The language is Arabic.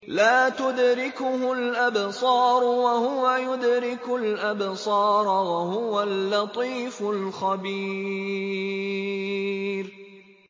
لَّا تُدْرِكُهُ الْأَبْصَارُ وَهُوَ يُدْرِكُ الْأَبْصَارَ ۖ وَهُوَ اللَّطِيفُ الْخَبِيرُ